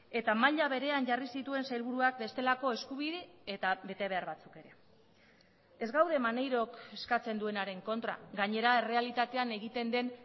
eta maila berean jarri zituen sailburuak bestelako eskubide eta betebehar batzuk ere ez gaude maneirok eskatzen duenaren kontra gainera errealitatean egiten den